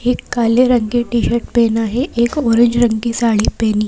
एक काले रंग की टी-शर्ट पहना है एक ऑरेंज रंग की साड़ी पहनी है।